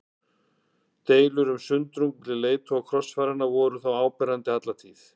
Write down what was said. Deilur og sundrung milli leiðtoga krossfaranna voru þó áberandi alla tíð.